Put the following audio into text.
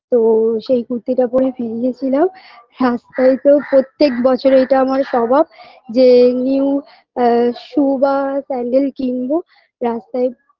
তো সেই কুর্তিটা পরে বেরিয়ে ছিলাম রাস্তায় তো প্রত্যেক বছরে এটা আমার স্বভাব যে new অ্যা shoe বা sandal কিনবো রাস্তায়